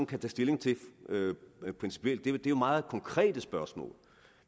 kan tage stilling til principielt det er jo meget konkrete spørgsmål